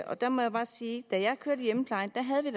og der må jeg bare sige at da jeg kørte i hjemmeplejen havde vi